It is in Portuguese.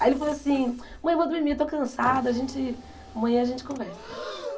Aí ele falou assim, mãe eu vou dormir, eu estou cansado, a gente amanhã a gente conversa.